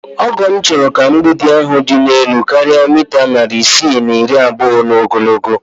Ọgọ m chọrọ ka mgbidi ahụ dị elu karịa mita narị isii na iri abụọ n'ogologo